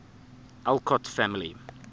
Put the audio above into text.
alcott family